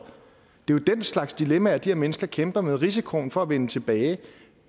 det er jo den slags dilemmaer de her mennesker kæmper med risikoen for at vende tilbage